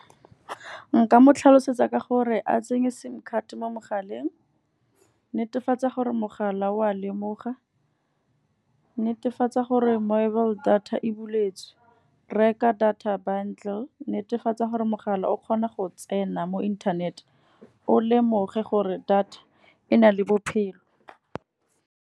Nka mo tlhalosetsa ka gore a tsenye sim card mo mogaleng. Netefatsa gore mogala wa lemoga, netefatsa gore mobile data e buletswe. Reka data bundle, netefatsa gore mogala o kgona go tsena mo inthanete, o lemoge gore data e na le bophelo.